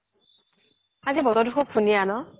আজি ব্তৰতো শুব ধুনিয়া ন